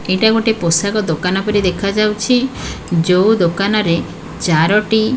ଏଇଟା ଗୋଟେ ପୋଷାକ ଦୋକାନ ପରି ଦେଖାଯାଉଛି ଯୋଉ ଦୋକାନ ରେ ଚାରୋଟି।